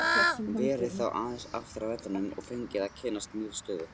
Verið þá aðeins aftar á vellinum og fengið að kynnast nýrri stöðu.